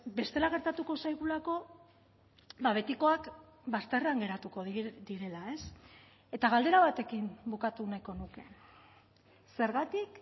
bestela gertatuko zaigulako betikoak bazterrean geratuko direla eta galdera batekin bukatu nahiko nuke zergatik